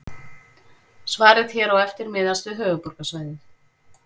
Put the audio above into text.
Svarið hér á eftir miðast við höfuðborgarsvæðið.